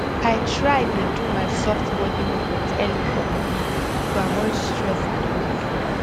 i try dey do my soft body movement early for morning to avoid stress and noise